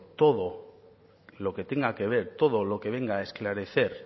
todo lo que tenga que ver todo lo que venga a esclarecer